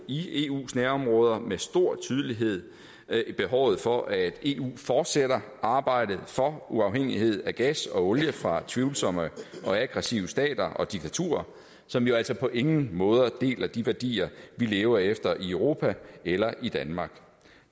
i eus nærområder med stor tydelighed behovet for at eu fortsætter arbejdet for uafhængighed af gas og olie fra tvivlsomme og aggressive stater og diktaturer som jo altså på ingen måde deler de værdier vi lever efter i europa eller i danmark